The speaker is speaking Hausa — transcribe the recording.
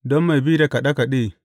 Don mai bi da kaɗe kaɗe.